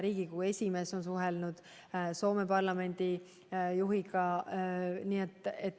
Riigikogu esimees on suhelnud Soome parlamendi juhiga.